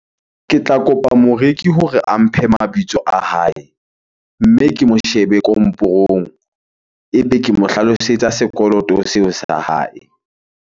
Ke tla kopa moreki hore a mphe mabitso a hae, mme ke mo shebe komporong. Ebe ke mo hlalosetsa sekoloto seo sa hae.